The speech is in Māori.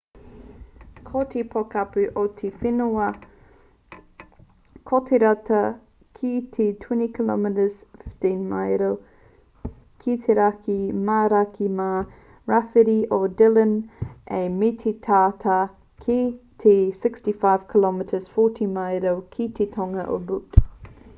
ko te pokapū o te rū whenua ko te tata ki te 20 km 15 maero ki te raki mā raki mā rāwhiti o dillon ā me te tata ki te 65 km 40 maero ki te tonga o butte